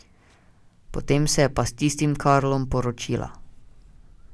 Potem se je pa s tistim Karlom poročila.